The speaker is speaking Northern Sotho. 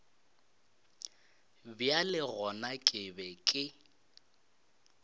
bjale gona ke be ke